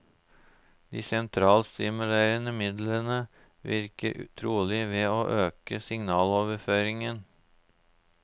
De sentralstimulerende midlene virker trolig ved å øke signaloverføringen.